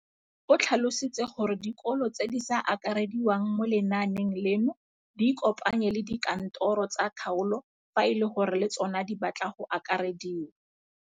O tlhalositse gore dikolo tse di sa akarediwang mo lenaaneng leno di ikopanye le dikantoro tsa kgaolo fa e le gore le tsona di batla go akarediwa.